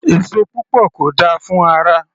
Èso púpọ̀ kò dáa fún ara